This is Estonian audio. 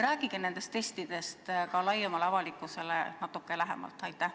Rääkige nendest testidest ka laiemale avalikkusele natuke lähemalt!